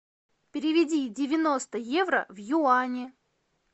переведи девяносто евро в юани